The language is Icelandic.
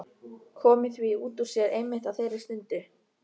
Komið því út úr sér einmitt á þeirri stundu.